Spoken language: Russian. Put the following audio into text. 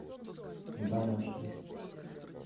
домашний